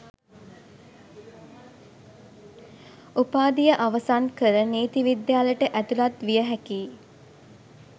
උපාධිය අවසන් කර නීති විද්‍යාලයට ඇතුළත් විය හැකියි